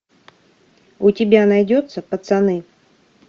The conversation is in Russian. у тебя найдется пацаны